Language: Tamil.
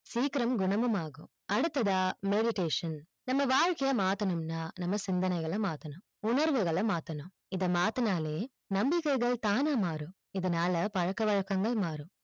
சீக்கிரம் குணமும் ஆகும் அடுத்ததா meditation நம்ம வாழ்க்கைய மாத்தனும்னா நம்ம சிந்தனைகள மாத்தனும் உணர்வுகள மாத்தனும் இத மாத்துனாலே நம்பிக்கைகள் தானா மாரும் இதனால பழக்க வழக்கங்கள் மாரும்